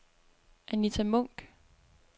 Anitta Munck